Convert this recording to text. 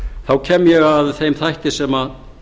þá kem ég að þeim þætti sem